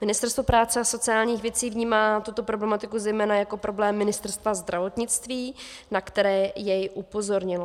Ministerstvo práce a sociálních věcí vnímá tuto problematiku zejména jako problém Ministerstva zdravotnictví, na který jej upozornilo.